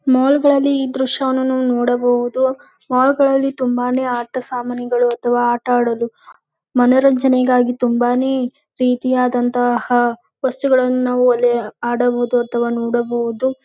ನೋಡಲ್ಲಿ ಈ ದೃಶ್ಯವನ್ನು ನೋಡಬಹುದು ಮಾಲ್ ಗಳಲ್ಲಿ ತುಂಬಾನೇ ಆಟ ಸಾಮಾನುಗಲಿದೆ ಆಟ ಆಡಲು ಮನೋರಂಜನೆಗಾಗಿ ತುಂಬಾನೇ ರೀತಿಯಾದಂತಹ ವಸ್ತುಗಳನ್ನು ಆಡಲು ಬಹುದು ನೋಡಲು ಬಹುದು .